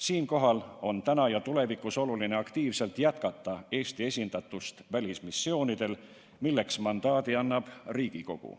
Siinkohal on praegu ja tulevikus oluline aktiivselt jätkata Eesti esindatust välismissioonidel, milleks mandaadi annab Riigikogu.